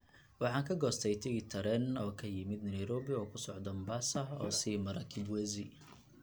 Waxaan ka goostay tigidh tareen oo ka yimid Nairobi oo ku socda Mombasa oo sii mara Kibwezi